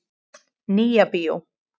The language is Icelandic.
Nýja bíó